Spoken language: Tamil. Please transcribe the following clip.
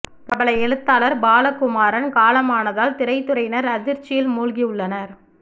பிரபல எழுத்தாளர் பாலகுமாரன் காலமானதால் திரைத்துறையினர் அதிர்ச்சியில் மூழ்கி உள்ளனர்